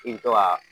I bi to ka